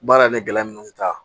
Baara yɛrɛ gɛlɛya minnu bɛ taa